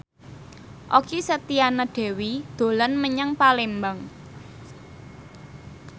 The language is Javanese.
Okky Setiana Dewi dolan menyang Palembang